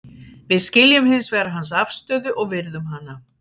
Við skiljum hins vegar hans afstöðu og virðum hana.